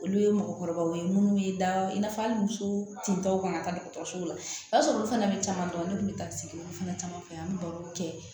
Olu ye mɔgɔkɔrɔbaw ye minnu bɛ da i n'a fɔ hali muso tentɔ fana taa dɔgɔtɔrɔso la i b'a sɔrɔ olu fana bɛ caman dɔn ne tun bɛ taa sigi olu fana caman fɛ an bɛ barow kɛ